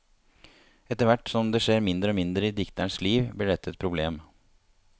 Etterhvert som det skjer mindre og mindre i dikterens liv blir dette et problem.